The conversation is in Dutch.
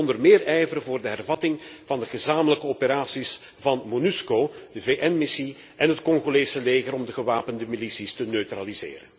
De Unie moet onder meer ijveren voor de hervatting van de gezamenlijke operaties van Monusco, de VN missie en het Congolese leger om de gewapende milities te neutraliseren.